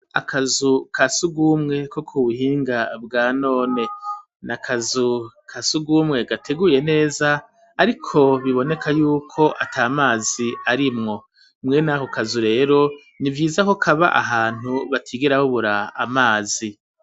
Akazu ka sugumwe ko ku buhinga bwa none ni akazu ka sugumwe gateguye neza, ariko biboneka yuko ata mazi arimwo mwenako kazu rero ni vyiza ko kaba ahantu batigera baubura amazi.